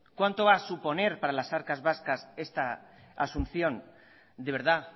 cuánto va a suponer para las arcas vascas esta asunción de verdad